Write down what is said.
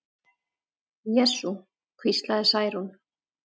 Jesú, hvíslaði Særún.